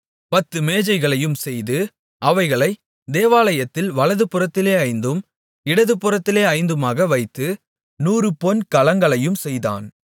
பத்து மேஜைகளையும் செய்து அவைகளை தேவாலயத்தில் வலதுபுறத்திலே ஐந்தும் இடதுபுறத்திலே ஐந்துமாக வைத்து நூறு பொன் கலங்களையும் செய்தான்